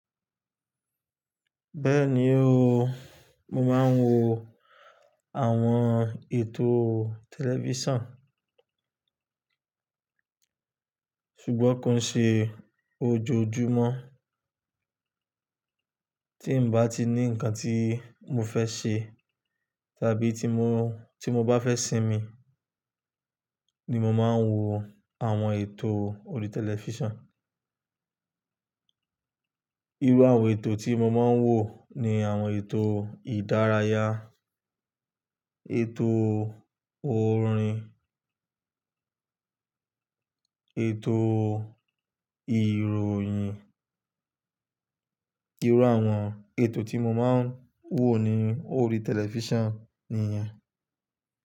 Bẹ́ẹ̀ni o, mo máa ń wo àwọn ètò tẹlifísàn, ṣùgbọ́n kò ṣe ojoojúmọ́. Tí n bá ti ní ǹkan tí mo fẹ́ ṣe tàbí tí mo bá fẹ́ sinmi ni mo máa ń wo àwọn ètò orí tẹlifísàn. Irú àwọn ètò tí mo máa ń wò ni àwọn ètò ìdárayá, ètò orin, ètò ìròyìn. Irú àwọn ètò tí mo máa ń wò ní orí tẹlifísàn nìyen.